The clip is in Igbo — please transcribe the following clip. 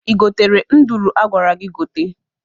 I gotere nduru a gwara gị gote.